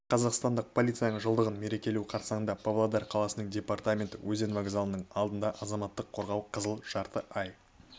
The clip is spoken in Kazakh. қазақстандық полицияның жылдығын мерекелеу қарсаңында павлодар қаласының департаменті өзен вокзалының алаңында азаматтық қорғау қызыл жарты ай